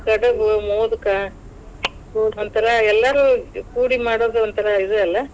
ಕಡಬು, ಮೋದ್ಕ ಒಂಥರಾ ಎಲ್ಲಾರು ಕೂಡಿ ಮಾಡೋದು ಒಂಥರಾ ಇದ್ ಅಲ್ಲಾ.